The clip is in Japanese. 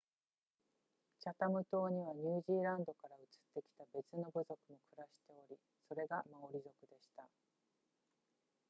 チャタム島にはニュージーランドから移ってきた別の部族も暮らしておりそれがマオリ族でした